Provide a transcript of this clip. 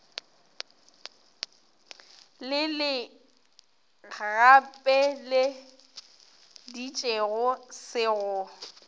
le le gapeleditšego se go